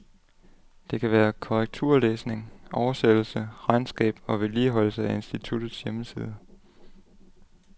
Det kan være korrekturlæsning, oversættelse, regnskab og vedligeholdelse af instituttets hjemmeside.